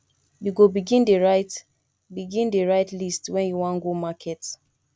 you go begin dey write begin dey write list wen you wan go market